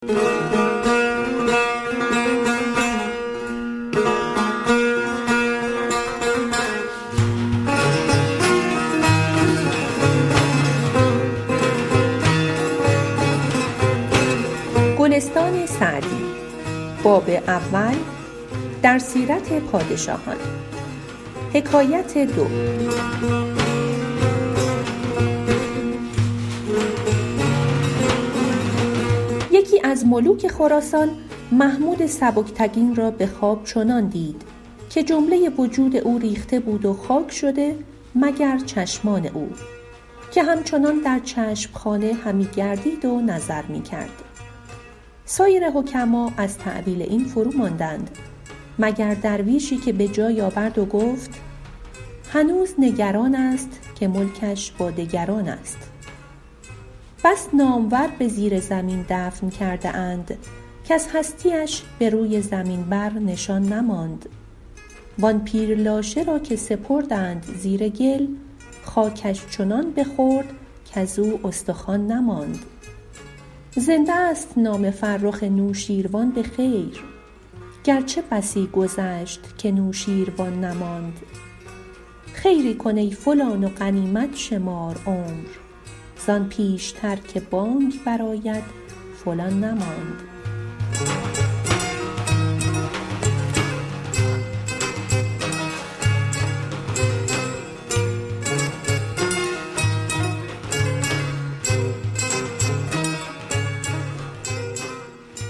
یکی از ملوک خراسان محمود سبکتگین را به خواب چنان دید که جمله وجود او ریخته بود و خاک شده مگر چشمان او که همچنان در چشم خانه همی گردید و نظر می کرد سایر حکما از تأویل این فروماندند مگر درویشی که به جای آورد و گفت هنوز نگران است که ملکش با دگران است بس نامور به زیر زمین دفن کرده اند کز هستی اش به روی زمین بر نشان نماند وآن پیر لاشه را که سپردند زیر گل خاکش چنان بخورد کزو استخوان نماند زنده ست نام فرخ نوشین روان به خیر گرچه بسی گذشت که نوشین روان نماند خیری کن ای فلان و غنیمت شمار عمر زآن پیشتر که بانگ بر آید فلان نماند